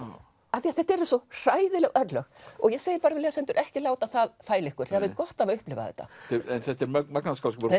af því þetta eru svo hræðileg örlög ég segi við lesendur ekki láta það fæla ykkur þið hafið gott af að upplifa þetta þetta er magnaður skáldskapur